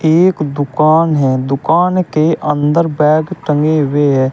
एक दुकान है दुकान के अंदर बैग टंगे हुए हैं।